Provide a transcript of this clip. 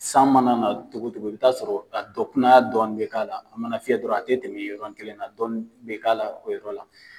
San mana na togo togo i bɛ taa sɔrɔ a dɔ kunanya dɔɔni bɛ k'a la a mana fiyɛ dɔrɔn a tɛmɛ yɔrɔnin kelen na dɔɔni bɛ k'a la o yɔrɔ la.